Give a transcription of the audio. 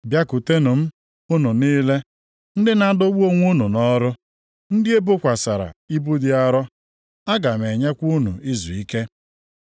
“Bịakwutenụ m unu niile ndị na-adọgbu onwe unu nʼọrụ, ndị e bokwasịrị ibu dị arọ. Aga m enyekwa unu izuike.